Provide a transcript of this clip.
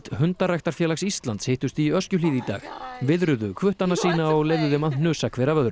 hundaræktarfélags Íslands hittust í Öskjuhlíð í dag viðruðu hvuttana sína og leyfðu þeim að hnusa hver af öðrum